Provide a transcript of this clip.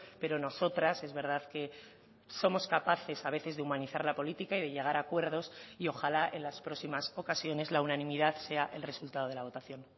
pero nosotras es verdad que somos capaces a veces de humanizar la política y de llegar a acuerdos y ojalá en las próximas ocasiones la unanimidad sea el resultado de la votación